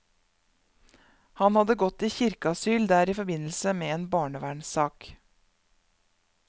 Han hadde gått i kirkeasyl der i forbindelse med en barnevernssak.